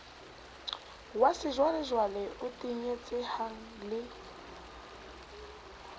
wa sejwalejwale o tenyetsehang le